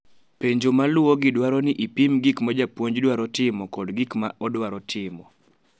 Penjo maluwogi dwaro ni ipim gik ma japuonj dwaro timo kod gik ma odwaro timo